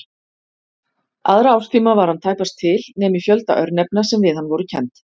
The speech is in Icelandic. Aðra árstíma var hann tæpast til nema í fjölda örnefna sem við hann voru kennd.